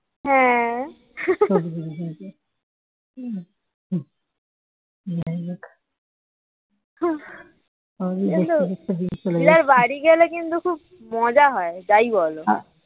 হ্যাঁ দিদার বাড়ি গেলে কিন্তু খুব মজা হয় যাই বলো